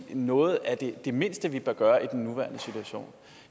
noget af det mindste vi bør gøre i den nuværende situation